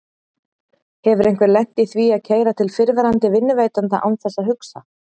Hefur einhver lent í því að keyra til fyrrverandi vinnuveitanda án þess að hugsa?